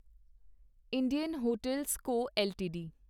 Indian hotel CO LTD